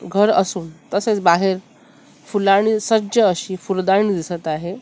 घर असून तसेच बाहेर फुलांनी सज्ज अशी फुलदाणी दिसत आहे.